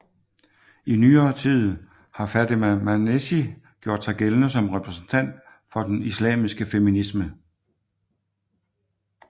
I nyere tid har Fatema Mernissi gjort sig gældende som repræsentant for den islamiske feminisme